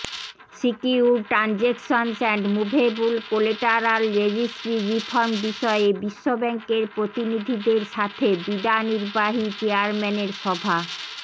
secured transactions and movable collateral registry reform বিষয়ে বিশ্বব্যাংকের প্রতিনিধিদের সাথে বিডা নির্বাহী চেয়ারম্যানের সভা